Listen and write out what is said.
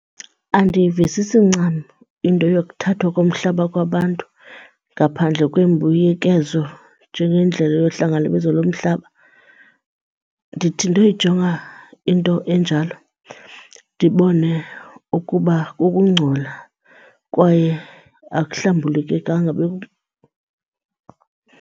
Andiyivisisi ncam into yokuthathwa komhlaba kwabantu ngaphandle kwembuyekezo njengendlela yohlangalibezo lomhlaba. Ndithi ndoyijonga into enjalo ndibone ukuba kukungcola kwaye akuhlambulukekanga .